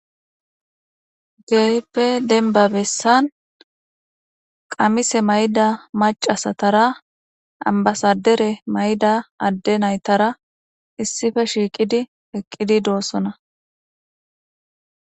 geyippe denbabessan qamise mayda macasatara ambasadere mayda adde naytara issife shiiqidi eqqidi doossona